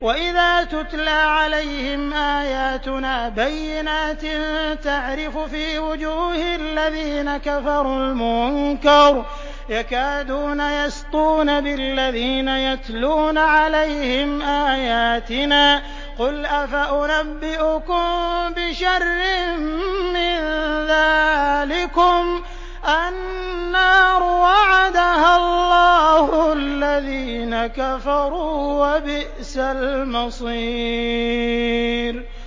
وَإِذَا تُتْلَىٰ عَلَيْهِمْ آيَاتُنَا بَيِّنَاتٍ تَعْرِفُ فِي وُجُوهِ الَّذِينَ كَفَرُوا الْمُنكَرَ ۖ يَكَادُونَ يَسْطُونَ بِالَّذِينَ يَتْلُونَ عَلَيْهِمْ آيَاتِنَا ۗ قُلْ أَفَأُنَبِّئُكُم بِشَرٍّ مِّن ذَٰلِكُمُ ۗ النَّارُ وَعَدَهَا اللَّهُ الَّذِينَ كَفَرُوا ۖ وَبِئْسَ الْمَصِيرُ